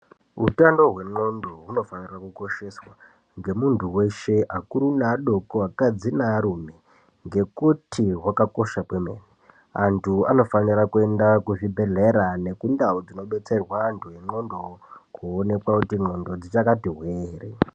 Utano hwendxondo hunofanire kukosheswa ngemuntu weshe akuru neadoko, akadzi nearume ngekuti hwakakosha kwemene. Antu anofanira kuenda kuzvibhedhlera nekundau dzinobetsera antu nendxondo koonekwa kuti ndxondo dzichakati hwee ere.